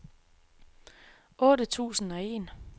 otte tusind og en